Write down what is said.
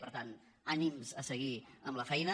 per tant ànims a seguir amb la feina